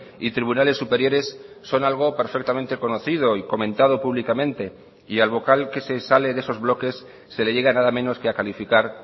y tribunales superiores son algo perfectamente conocido y comentado públicamente y al vocal que se sale de esos bloques se le llega nada menos que a calificar